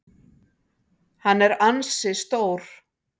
Hann er ansi stór.